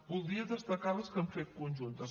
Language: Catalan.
voldria destacar les que hem fet conjuntes